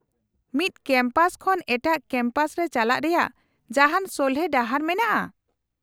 -ᱢᱤᱫ ᱠᱮᱢᱯᱟᱥ ᱠᱷᱚᱱ ᱮᱴᱟᱜ ᱠᱮᱢᱯᱟᱥ ᱨᱮ ᱪᱟᱞᱟᱜ ᱨᱮᱭᱟᱜ ᱡᱟᱦᱟᱱ ᱥᱚᱞᱦᱮ ᱰᱟᱦᱟᱨ ᱢᱮᱱᱟᱜᱼᱟ ?